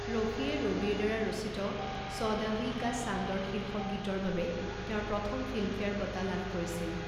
ৰফিয়ে ৰবিৰ দ্বাৰা ৰচিত চৌদহৱীঁ কা চান্দৰ শীৰ্ষক গীতৰ বাবে তেওঁৰ প্ৰথম ফিল্মফেয়াৰ বঁটা লাভ কৰিছিল।